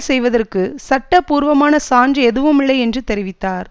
செய்வதற்கு சட்டபூர்வமான சான்று எதுவுமில்லை என்று தெரிவித்தார்